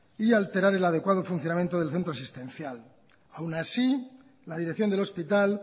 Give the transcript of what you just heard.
y a alterar el adecuado funcionamiento del centro asistencial y aún así la dirección del hospital